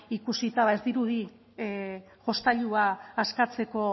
ikusita bada ez dirudi jostailua askatzeko